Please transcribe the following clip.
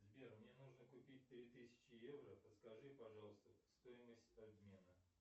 сбер мне нужно купить три тысячи евро подскажи пожалуйста стоимость обмена